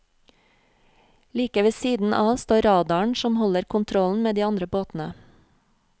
Like ved siden av står radaren som holder kontrollen med de andre båtene.